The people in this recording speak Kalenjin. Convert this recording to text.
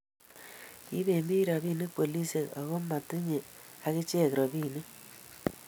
kiiben biik robinik polisiek, aku amu matinyei akichek robinik